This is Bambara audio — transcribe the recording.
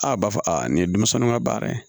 A b'a fɔ a nin ye denmisɛnw ka baara ye